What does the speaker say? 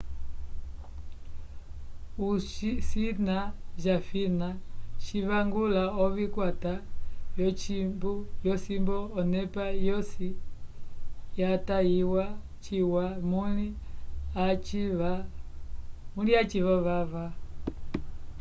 o cina jafina civangula ovikwata vyocimbu onepa yosi yatatiwa ciwa muli a civa jovava